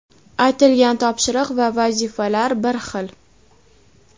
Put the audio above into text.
aytilgan topshiriq va vazifalar bir xil.